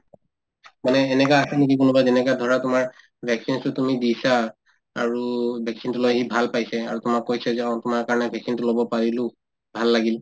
মানে এনেকা আছে নেকি কোনোবা যেনেকা ধৰা তোমাৰ vaccines তো তুমি দিছা আৰু vaccine তো লৈ সি ভাল পাইছে আৰু তোমাক কৈছে যে অ তোমাৰ কাৰণে vaccine তো লব পাৰিলো ভাল লাগিল